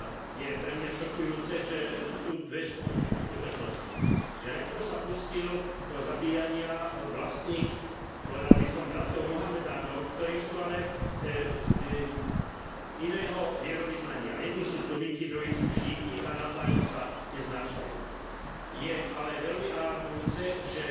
Je pre mňa šokujúce, že a to sú dve skutočnosti, že najprv sa pustil do zabíjania vlastných, povedal by som, bratov Mohamedánov, ktorí sú ale iného vierovyznania jedni sú suniti, druhí sú šíiti a navzájom sa neznášajú. Je ale veľmi alarmujúce, že